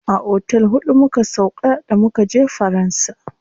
A otel huɗu muka sauƙa da mukaje faransa.